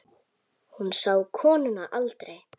Hún sá konuna aldrei.